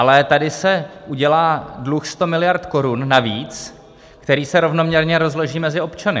Ale tady se udělá dluh 100 miliard korun navíc, který se rovnoměrně rozloží mezi občany.